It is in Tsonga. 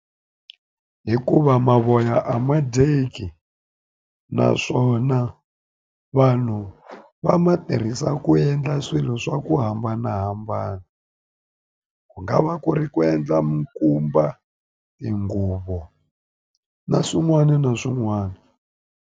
Hikuva mavoya a ma dyeki naswona vanhu va ma tirhisa ku endla swilo swa ku hambanahambana ku nga va ku ri ku endla mikumba tinguvo na swin'wana na swin'wana.